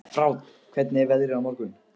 Fránn, hvernig er veðrið á morgun?